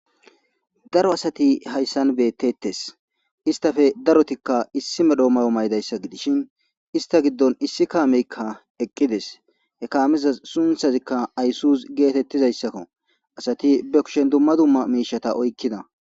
Daro asati hayssan beettettes istafe darotikka issi medhoomayo maydayssa gidishin ista giddon issi kaameykka eqqides he kaamiza sunthazikka ayssus geetettizayssakko asati be kushen dumma dumma miishata oykkida.